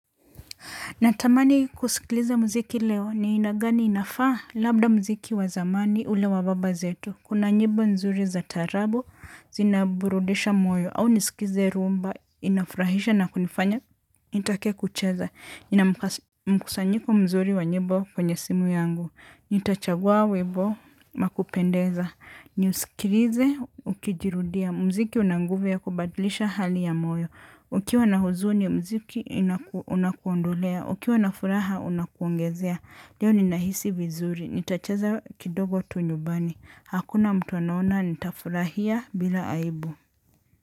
Natamani kusikiliza muziki leo ni aina gani inafaa, labda muziki wa zamani ule wa baba zetu. Kuna nyimbo nzuri za tarabo, zinaburudisha moyo au nisikize rhumba, inafurahisha na kunifanya, nitake kucheza. Nina mkusanyiko mzuri wa nyimbo kwenye simu yangu. Nitachagua webo makupendeza. Niusikilize, ukijirudia. Mziki una nguvu ya kubadlisha hali ya moyo. Ukiwa na huzuni mziki unakuondolea. Ukiwa na furaha unakuongezea. Leo ni nahisi vizuri. Nitachaza kidogo tu nyubani. Hakuna mtu anaona nitafurahia bila aibu.